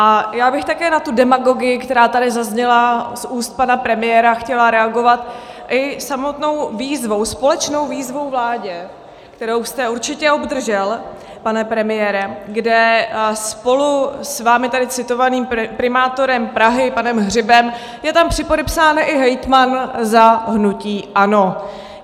A já bych také na tu demagogii, která tady zazněla z úst pana premiéra, chtěla reagovat i samotnou výzvou, společnou výzvou vládě, kterou jste určitě obdržel, pane premiére, kde spolu s vámi tady citovaným primátorem Prahy panem Hřibem je tam připodepsán i hejtman za hnutí ANO.